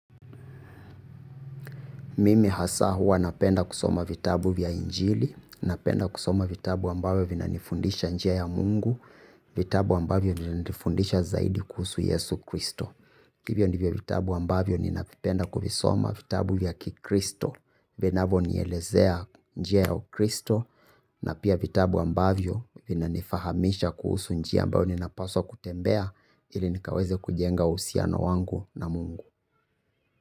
Mimi hasa huwa napenda kusoma vitabu vya injili, napenda kusoma vitabu ambavyo vinanifundisha njia ya mungu, vitabu ambavyo vinanifundisha zaidi kuhusu yesu kristo. Hivyo ndivyo vitabu ambavyo ninavipenda kuvisoma vitabu vya kikristo, vinavonielezea njia ya kristo, na pia vitabu ambavyo vina nifahamisha kuhusu njia ambavyo ninapaswa kutembea ili nikaweze kujenga uhusiano wangu na mungu.